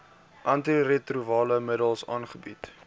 antiretrovirale middels aangebied